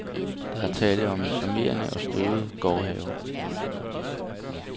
Der er tale om en charmerende og støvet gårdhave.